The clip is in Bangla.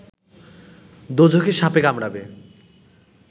দোযখে সাপে কামড়াবে